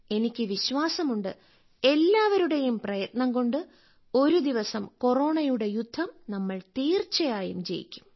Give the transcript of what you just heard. എനിക്ക് വിശ്വാസമുണ്ട് എല്ലാവരുടെയും പ്രയത്നംകൊണ്ട് ഒരുദിവസം കൊറോണയുടെ യുദ്ധം നമ്മൾ തീർച്ചയായും ജയിക്കും